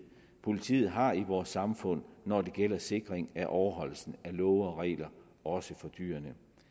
politiet har i vores samfund når det gælder sikringen af overholdelsen af love og regler også for dyr